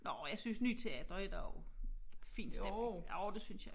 Nåh jeg synes Ny Teater er der også fin stemning jo det synes jeg